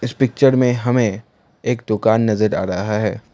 Picture में हमें एक दुकान नजर आ रहा है।